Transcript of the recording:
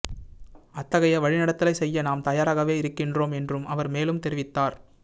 அத்தகைய வழிநடத்தலை செய்ய நாம் தயாராகவே இருக்கின்றோம் என்றும் அவர் மேலும் தெரிவித்தார்